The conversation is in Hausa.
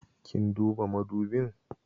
Kin duba madubin?